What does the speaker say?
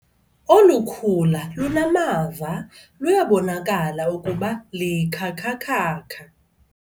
Olu khula lunamava luyabonakala ukuba likhakhakhakha.